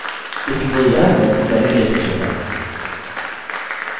इसलिए यह onetomany relationship है